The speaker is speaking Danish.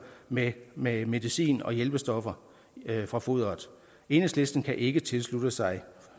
med med medicin og hjælpestoffer fra foderet enhedslisten kan ikke tilslutte sig